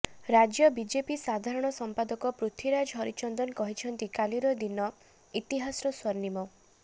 ରାଜ୍ୟ ବିଜେପି ସାଧାରଣ ସମ୍ପାଦକ ପୃଥ୍ୱୀରାଜ ହରିଚନ୍ଦନ କହିଛନ୍ତି କାଲିର ଦିନ ଇତିହାସର ସ୍ୱର୍ଣ୍ଣିମ